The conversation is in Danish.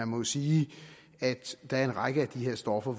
må jo sige at der er en række af de her stoffer